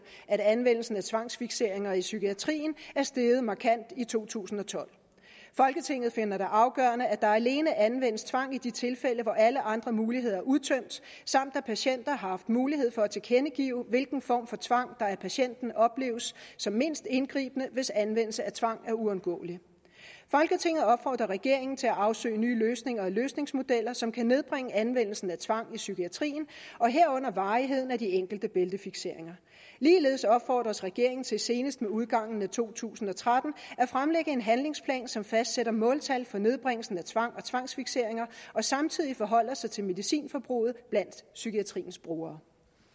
at anvendelsen af tvangsfikseringer i psykiatrien er steget markant i to tusind og tolv folketinget finder det afgørende at der alene anvendes tvang i de tilfælde hvor alle andre muligheder er udtømt samt at patienten har haft mulighed for at tilkendegive hvilken form for tvang der af patienten opleves som mindst indgribende hvis anvendelse af tvang er uundgåelig folketinget opfordrer regeringen til at afsøge nye løsninger og løsningsmodeller som kan nedbringe anvendelsen af tvang i psykiatrien herunder varigheden af de enkelte bæltefikseringer ligeledes opfordres regeringen til senest med udgangen af to tusind og tretten at fremlægge en handlingsplan som fastsætter måltal for nedbringelsen af tvang og tvangsfikseringer og samtidig forholder sig til medicinforbruget blandt psykiatriens brugere